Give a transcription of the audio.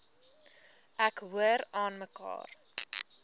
ek hoor aanmekaar